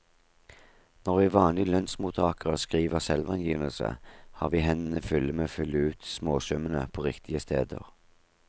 Når vi vanlige lønnsmottagere skriver selvangivelse, har vi hendene fulle med å fylle ut småsummene på riktige steder.